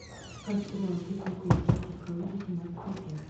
искать сериал пикник у висячей скалы восемнадцатая часть